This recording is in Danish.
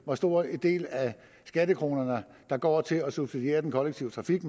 hvor stor en del af skattekronerne der går til at subsidiere den kollektive trafik